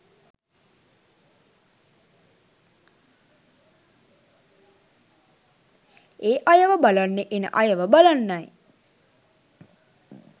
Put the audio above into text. ඒ අයව බලන්න එන අයව බලන්නයි.